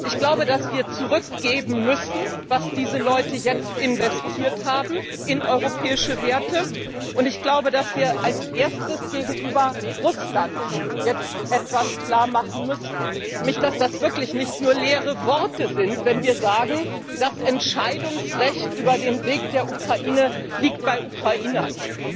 Ich glaube, dass wir zurückgeben müssen, was diese Leute jetzt in europäische Werte investiert haben. Und ich glaube, dass wir als Erstes gegenüber Russland jetzt etwas klarmachen müssen nämlich, dass das wirklich nicht nur leere Worte sind, wenn wir sagen, das Entscheidungsrecht über den Weg der Ukraine liegt bei den Ukrainern.